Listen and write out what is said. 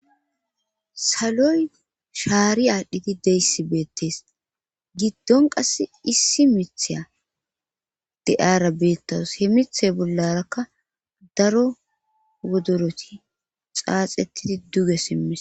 saloy shaari aadhdhi deyssi beettees giddon qasse issi mitheya de'ara beettawus he mithe bollarakka daro wodoroti xaaxettidi duge simise